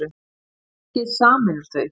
Skeggið sameinar þau